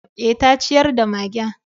Eh, ta ciyar da magen.